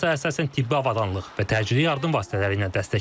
Fransa əsasən tibbi avadanlıq və təcili yardım vasitələri ilə dəstək verir.